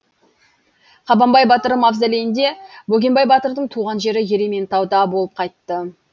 қабанбай батыр мавзолейінде бөгенбай батырдың туған жері ерейментауда болып қайтты